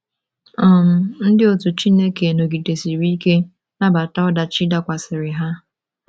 um Ndi otu Chukwu nọgidesiri ike nabata odachi dakwasara ha